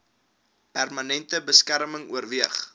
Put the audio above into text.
permanente beskerming oorweeg